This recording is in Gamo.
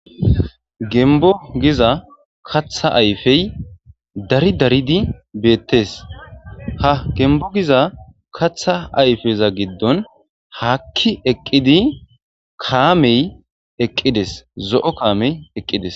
gembo giza katha ayfey dari daridi beettes ha gembo giza katha ayfeza giddon haakki eqqidi kaamey eqqides zo7o kaamey eqqides